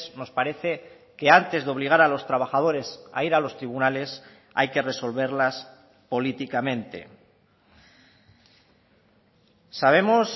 nos parece que antes de obligar a los trabajadores a ir a los tribunales hay que resolverlas políticamente sabemos